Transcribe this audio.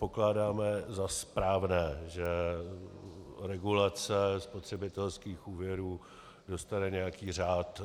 Pokládáme za správné, že regulace spotřebitelských úvěrů dostane nějaký řád.